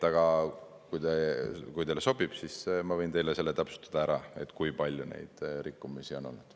Aga kui teile sobib, siis ma võin teile täpsustada, kui palju neid rikkumisi on olnud.